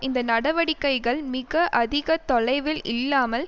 இந்த நடவடிக்கைகள் மிக அதிக தொலைவில் இல்லாமல்